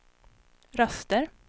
röster